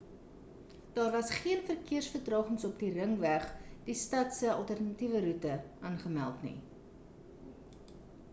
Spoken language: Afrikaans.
daar waas geen verkeers vertragings op die ringweg die stad se alternatiewe roete aangemeld nie